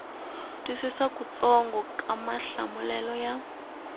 twisisa kutsongo ka mahlamulelo ya